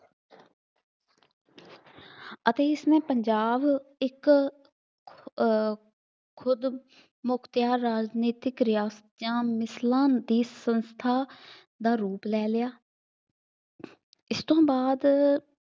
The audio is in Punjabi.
ਅਤੇ ਇਸ ਮੇ ਪੰਜਾਬ ਇੱਕ ਅਹ ਖੁਦ ਮੁਖਤਿਆਰ ਰਾਜਨੀਤਿਕ ਰਿਆਸਤ ਦੀਆ ਮਿਸਲਾਂ ਦੀ ਸੰਸਥਾਂ ਦਾ ਰੂਪ ਲੈ ਲਿਆ ਇਸ ਤੋਂ ਬਾਅਦ